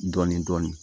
Dɔɔnin dɔɔnin